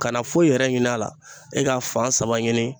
Kana foyi yɛrɛ ɲin'a la, e k'a fan saba ɲini